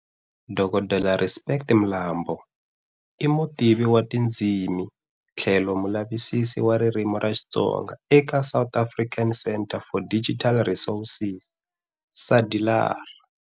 Dokodela Respect Mlambo i Mutivi wa tindzimi tlhelo mulavisisi wa ririmi ra Xitsonga eka South African Centre for Digital Resources, SADiLaR